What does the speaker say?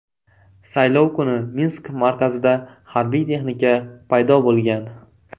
Saylov kuni Minsk markazida harbiy texnika paydo bo‘lgan .